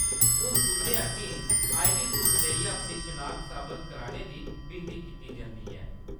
हून तुंʼदे अग्गें आईडी प्रूफ देइयै अपनी शनाखत साबत करने दी विनती कीती जंदी ऐ।